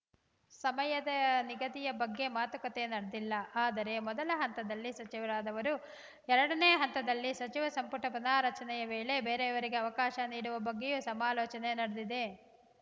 ಸಮಯದ ನಿಗದಿಯ ಬಗ್ಗೆ ಮಾತುಕತೆ ನಡೆದಿಲ್ಲ ಆದರೆ ಮೊದಲ ಹಂತದಲ್ಲಿ ಸಚಿವರಾದವರು ಎರಡನೇ ಹಂತದಲ್ಲಿ ಸಚಿವ ಸಂಪುಟ ಪುನಾರಚನೆಯ ವೇಳೆ ಬೇರೆಯವರಿಗೆ ಅವಕಾಶ ನೀಡುವ ಬಗ್ಗೆಯೂ ಸಮಾಲೋಚನೆ ನಡೆದಿದೆ